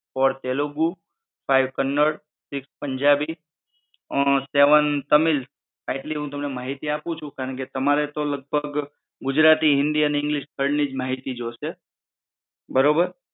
fourth Telugu five Kannada sixth Punjabi seven Tamil આટલી હું તમને માહિતી આપું છું કારણ કે તમારે તો લગભગ ગુજરાતી હિન્દી અને ઇંગ્લિશ ત્રણ નિજ માહિતી જોશે બરોબર